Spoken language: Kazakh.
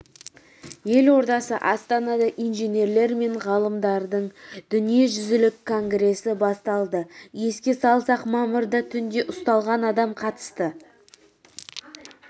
ел ордасы астанада инженерлер мен ғалымдардың дүниежүзілік конгресі басталды еске салсақ мамырда түнде ұсталған адамға қатысты